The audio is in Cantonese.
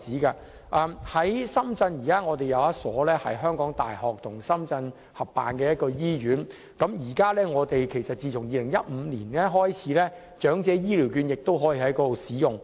現時深圳有一所由香港大學與深圳合辦的醫院，自2015年開始，長者醫療券亦可以在那裏使用。